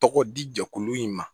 Tɔgɔ di jɛkulu in ma